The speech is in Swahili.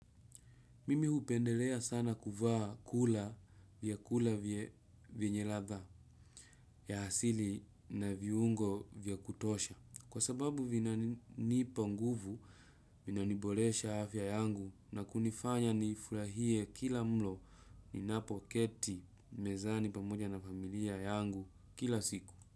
Mimi hupendelea sana kuvaa kula vyakula vyenye ladha ya asili na viungo vya kutosha. Kwa sababu vinanipa nguvu, vinaniboresha afya yangu na kunifanya nifurahie kila mlo ninapoketi mezani pamoja na familia yangu kila siku.